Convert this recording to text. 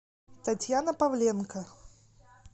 татьяна павленко